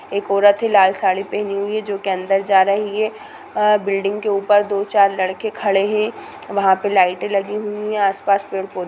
एक औरत है लाल साड़ी पहनी हुई है जो की अंदर जा रही है| अ बिल्डिंग के ऊपर दो-चार लड़के खड़े हैं वहाँ पे लाइटे लगी हुई है आस-पास पेड़-पौधे--